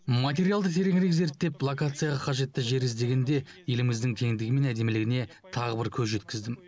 материалды тереңірек зерттеп локацияға қажетті жер іздегенде еліміздің кеңдігі мен әдемілігіне тағы бір көз жеткіздім